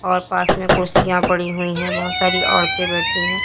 और पास में कुर्सियां पड़ी है बहुत सारी औरते बैठी है।